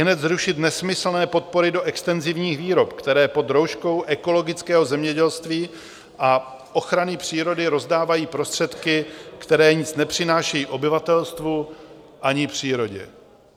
Ihned zrušit nesmyslné podpory do extenzivních výrob, které pod rouškou ekologického zemědělství a ochrany přírody rozdávají prostředky, které nic nepřinášejí obyvatelstvu ani přírodě.